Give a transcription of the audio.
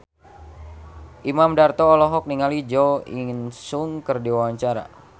Imam Darto olohok ningali Jo In Sung keur diwawancara